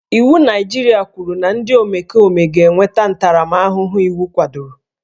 Iwu Naịjirịa kwuru na ndị omekome ga-enweta ntaramahụhụ iwu kwadoro